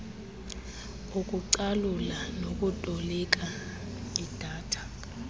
ukucalula nokutolika idata